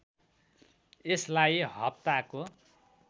यसलाई हप्ताको